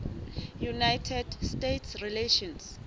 united states relations